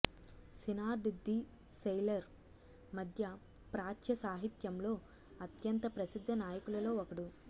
సినార్డ్ the sailor మధ్య ప్రాచ్య సాహిత్యంలో అత్యంత ప్రసిద్ధ నాయకులలో ఒకడు